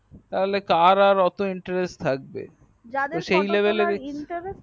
তাহলে কার আর এতো interest থাকবে যাদের photo তোলার interest